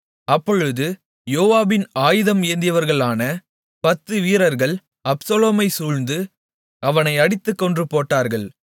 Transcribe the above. அப்பொழுது யோவாபின் ஆயுதம் ஏந்தினவர்களான பத்து வீரர்கள் அப்சலோமைச் சூழ்ந்து அவனை அடித்துக் கொன்று போட்டார்கள்